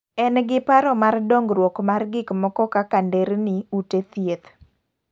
En gi paro mar dongruok mar gik moko kaka nderni ,ute thieth